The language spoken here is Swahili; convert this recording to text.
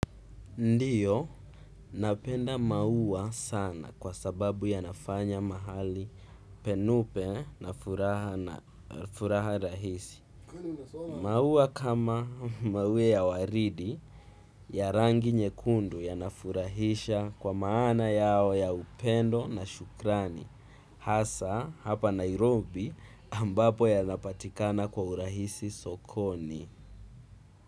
Ndiyo, napenda maua sana kwa sababu yanafanya mahali penupe na furaha rahisi. Maua kama maue ya waridi ya rangi nyekundu ya nafurahisha kwa maana yao ya upendo na shukrani. Hasa hapa nairobi ambapo yanapatikana kwa urahisi sokoni.